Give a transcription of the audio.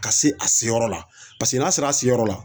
Ka se a se yɔrɔ la paseke n'a sera se yɔrɔ la